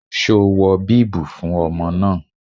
Ṣo wọ bíbù fún ọmọ náà?